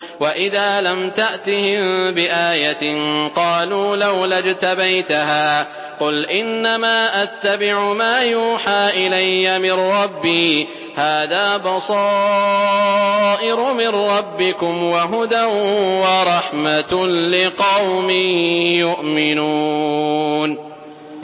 وَإِذَا لَمْ تَأْتِهِم بِآيَةٍ قَالُوا لَوْلَا اجْتَبَيْتَهَا ۚ قُلْ إِنَّمَا أَتَّبِعُ مَا يُوحَىٰ إِلَيَّ مِن رَّبِّي ۚ هَٰذَا بَصَائِرُ مِن رَّبِّكُمْ وَهُدًى وَرَحْمَةٌ لِّقَوْمٍ يُؤْمِنُونَ